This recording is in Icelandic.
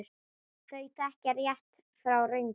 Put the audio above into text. Þau þekkja rétt frá röngu.